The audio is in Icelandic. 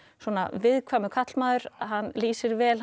viðkvæmur karlmaður hann lýsir vel